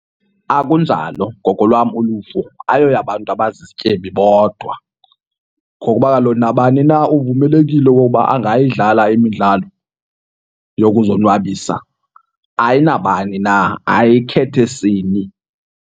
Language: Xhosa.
Akunjalo ngokolwam uluvo, ayiyoyabantu abazizityebi bodwa ngokuba kaloku nabani na uvumelekile okokuba angayidlala imidlalo yokuzonwabisa. Ayinabani na, ayikhethi sini.